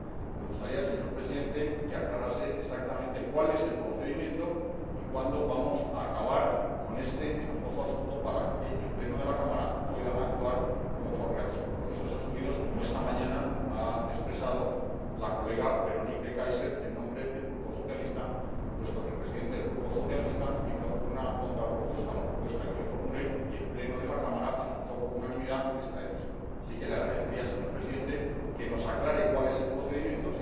Me gustaría, señor Presidente, que aclarase exactamente cuál es el procedimiento y cuándo vamos a acabar con este enojoso asunto para que el Pleno de la Cámara pueda actuar conforme a los compromisos asumidos, como esta mañana ha expresado la colega Véronique de Keyser en nombre del Grupo socialista, puesto que el Presidente del Grupo socialista hizo una contrapropuesta a la propuesta que yo formulé y el Pleno de la Cámara aceptó por unanimidad esta decisión. Así es que le agradecería, señor Presidente, que nos aclare cuál es el procedimiento.